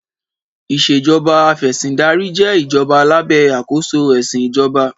Ìṣèjọba Afẹ̀sìndarí jẹ́ ìjọba lábẹ́ àkóso ẹ̀sìn ìjọba.